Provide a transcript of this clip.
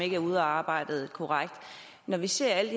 ikke er udarbejdet korrekt når vi ser alle